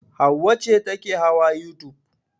Hauwa ce take hawa youtube.